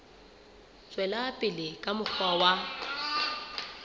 tswela pele ka mokgwa wa